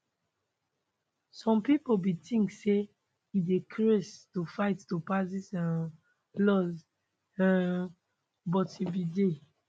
some pipo bin tink say e dey craze to fight to pass dis um laws um but e bin dey